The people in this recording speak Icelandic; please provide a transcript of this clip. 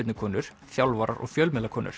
knattspyrnukonur þjálfarar og